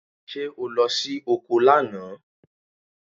Ṣé o lọ sí oko lánàá?